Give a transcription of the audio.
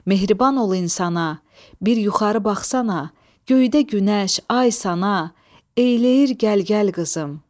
Mehriban ol insana, bir yuxarı baxsana, göydə günəş, ay sana, eləyir gəl gəl qızım.